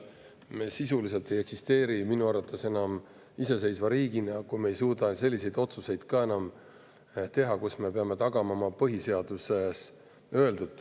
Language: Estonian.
Minu arvates me sisuliselt ei eksisteeri enam iseseisva riigina, kui me ei suuda teha ka selliseid otsuseid, millega me peame tagama oma põhiseaduses öeldu.